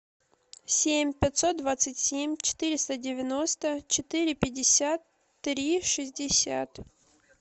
семь пятьсот двадцать семь четыреста девяносто четыре пятьдесят три шестьдесят